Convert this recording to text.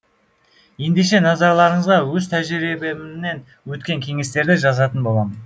ендеше назарларыңызға өз тәжірибемнен өткен кеңестерді жазатын боламын